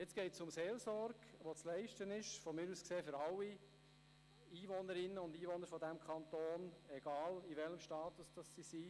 Bei der Motion geht es um Seelsorge, die von mir aus gesehen für alle Einwohnerinnen und Einwohner dieses Kantons zu leisten ist, egal welchen Status sie haben.